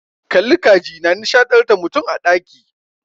Kalli ka ji na nishadantar da mutum a ɗaki.